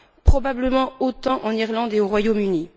Probablement autant en Irlande et au Royaume Uni.